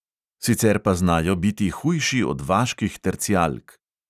Sicer pa znajo biti hujši od vaških tercijalk.